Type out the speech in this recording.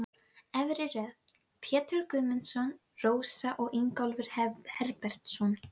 Björn varð niðurlútur við tíðindin svo mjög varð honum um.